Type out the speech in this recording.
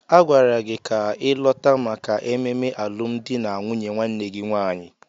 Agwara gị ka ịlọta maka ememe alụmdi na nwunye nwanne gị nwaanyị!